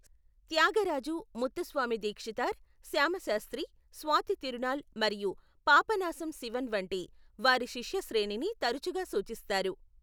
త్యాగరాజు, ముత్తుస్వామి దీక్షితార్, శ్యామ శాస్త్రి, స్వాతి తిరునాళ్ మరియు పాపనాశం శివన్ వంటి వారి శిష్య శ్రేణిని తరచుగా సూచిస్తారు.